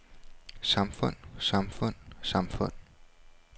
samfund samfund samfund